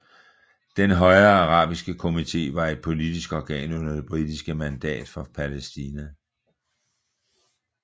Den højere arabiske komité var et politisk organ under det britiske mandat for Palæstina